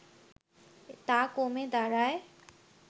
তা কমে দাঁড়ায়